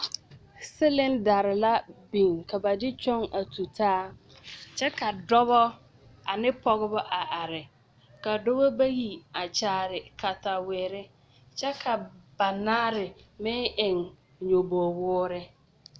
Cylinderre la biŋ ka ba de kyɔŋ a tutaa kyɛ ka dɔbɔ ane pɔgebɔ a are a kyaare katawerre kyɛ ka banaare meŋ eŋ nyoboge woore.